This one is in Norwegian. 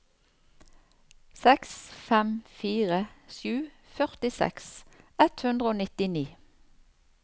seks fem fire sju førtiseks ett hundre og nittini